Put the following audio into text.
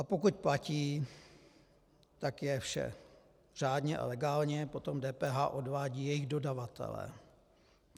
A pokud platí, tak je vše řádně a legálně, potom DPH odvádí jejich dodavatelé.